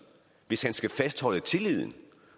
hvis han skal fastholde tilliden